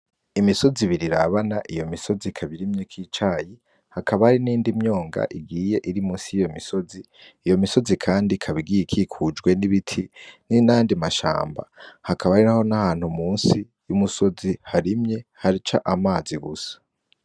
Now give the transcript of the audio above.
Imisozi ibiri irabana, iyo misozi ikaba irimwo icayi hakaba hari n'iyindi myonga igiye iri munsi yiyo misozi, iyo misozi kandi ikaba igiye ikikujwe n'ibiti nandi mashamba. Hakaba hariho nahantu munsi y'umusozi harimye haca amazi gusa.